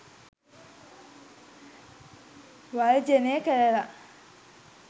වර්ජනය කරලා